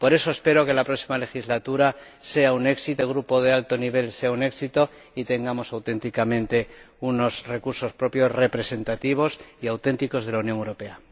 Por eso, espero que en la próxima legislatura el Grupo de alto nivel sea un éxito y tengamos realmente unos recursos propios representativos y auténticos de la Unión Europea.